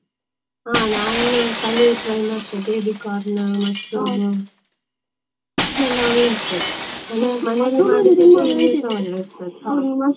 ಹಾ ನಾನು paneer try ಮತ್ತೆ baby corn, mushroom ಇದೆಲ್ಲಾ ಒಳ್ಳೇದ್ ಇರ್ತದೆ, ಮನೆಯಲ್ಲಿ .